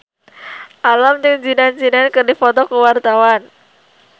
Alam jeung Zidane Zidane keur dipoto ku wartawan